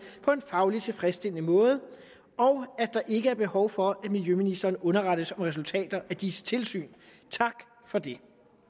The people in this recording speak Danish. på en fagligt tilfredsstillende måde og at der ikke er behov for at miljøministeren underrettes om resultater af disse tilsyn tak for det